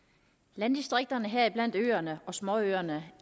landdistrikterne heriblandt øerne og småøerne